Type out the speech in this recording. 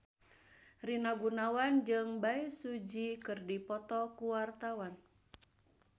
Rina Gunawan jeung Bae Su Ji keur dipoto ku wartawan